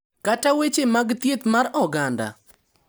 Kata weche mag thieth mar oganda,